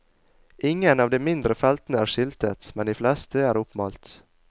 Ingen av de mindre feltene er skiltet, men de fleste er oppmalt.